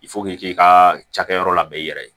k'i ka cakɛyɔrɔ labɛn i yɛrɛ ye